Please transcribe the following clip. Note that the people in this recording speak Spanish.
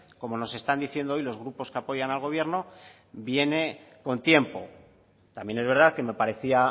como nos están diciendo hoy los grupos que apoyan al gobierno viene con tiempo también es verdad que me parecía